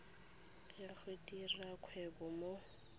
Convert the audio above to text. ya go dira kgwebo mo